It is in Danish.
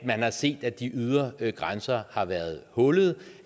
man har set at de ydre grænser har været hullede